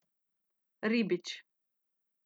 Ribič.